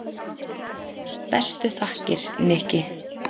Bestu þakkir, Nikki.